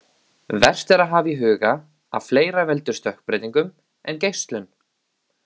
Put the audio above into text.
Vert er að hafa í huga að fleira veldur stökkbreytingum en geislun.